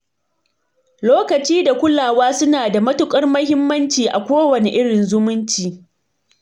Lokaci da kulawa suna da matukar muhimmanci a kowane irin zumunci.